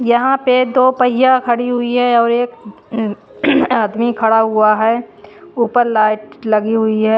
यहाँ पे दो पहिया खड़ी हुई है और एक आदमी खड़ा हुआ है ऊपर लाइट लगी हुई है--